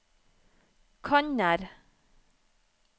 kanner